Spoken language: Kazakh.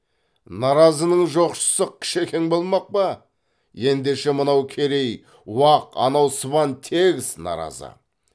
наразының жоқшысы кішекең болмақ па ендеше мынау керей уақ анау сыбан тегіс наразы